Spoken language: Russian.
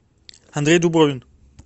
андрей дубровин